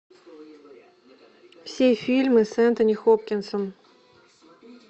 все фильмы с энтони хопкинсом